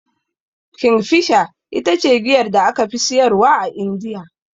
Kingfisher ita ce giyar da aka fi siyarwa a Indiya.